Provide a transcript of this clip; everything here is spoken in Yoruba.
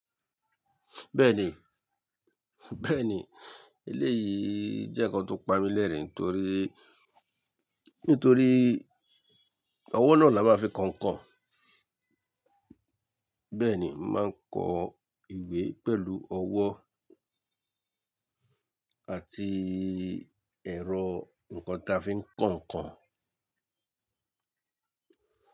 Bẹ́ẹ̀ni, bẹ́ẹ̀ni, eléyìí jẹ́ nǹkan tó pa mí lẹ́rìn nítorí, nítorí ọwọ́ náà la máa fi kọ nkán. Bẹ́ẹ̀ni, màá kọ ìwé pẹ̀lú ọwọ́ àti ẹ̀rọ nǹkan tó fi ń kọ nkán.